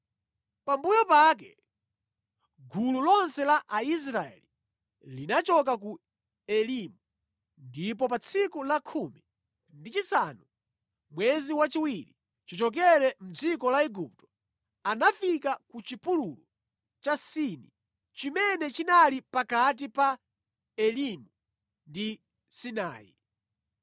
Pambuyo pake gulu lonse la Aisraeli linachoka ku Elimu, ndipo pa tsiku la khumi ndi chisanu mwezi wachiwiri chichokere mʼdziko la Igupto, anafika ku chipululu cha Sini chimene chinali pakati pa Elimu ndi Sinai.